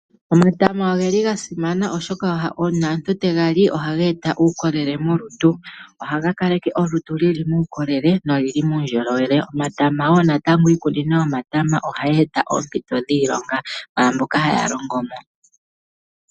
Omatama oga simana oshoka uuna omuntu tegali ohaga eta uukolele molutu. Ohaga kaleke olutu luli muukolele nolili nuundjolowele. Omatama woo natango iikunino yomatama ohayi eta oompito dhiilonga kwaamboka haya longomo.